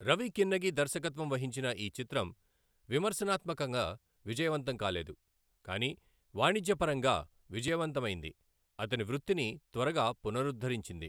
రవి కిన్నగి దర్శకత్వం వహించిన ఈ చిత్రం విమర్శనాత్మకంగా విజయవంతం కాలేదు, కానీ వాణిజ్యపరంగా విజయవంతమైంది, అతని వృత్తిని త్వరగా పునరుద్ధరించింది.